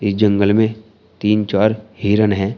इस जंगल में तीन चार हिरन है।